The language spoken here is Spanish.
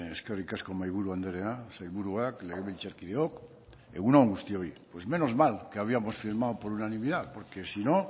eskerrik asko mahaiburu andrea sailburuak legebiltzarkideok egun on guztioi pues menos mal que habíamos firmado por unanimidad porque si no